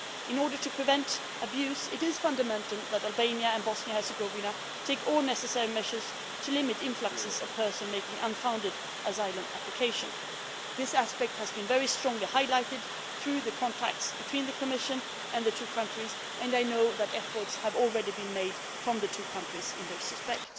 In order to prevent abuse, it is essential that Albania and Bosnia and Herzegovina take all necessary measures to limit influxes of persons making unfounded asylum applications. This aspect has been very strongly highlighted through the contacts between the Commission and the two countries, and I know that efforts have already been made by the two countries in this respect.